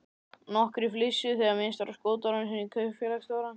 Nokkrir flissuðu þegar minnst var á skotárásina á kaupfélagsstjórann.